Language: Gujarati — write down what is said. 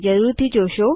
તે જરૂર જોશો